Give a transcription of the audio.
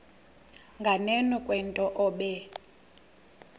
nganeno kwento obe